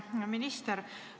Hea minister!